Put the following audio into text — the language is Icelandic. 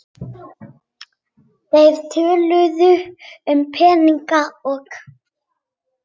Þeir töluðu um peninga og